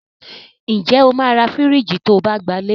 Ǹ jẹ́ o máa ra fìríjìì to bá gbalé.